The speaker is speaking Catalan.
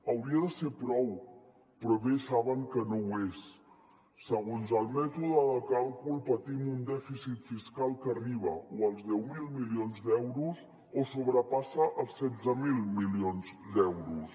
hauria de ser prou però bé saben que no ho és segons el mètode de càlcul patim un dèficit fiscal que arriba o als deu mil milions d’euros o sobrepassa els setze mil milions d’euros